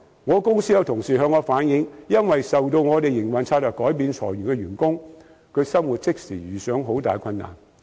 我公司的同事向我反映，因為我們營運策略改變而被裁走的員工在生活上即時遇上很大困難。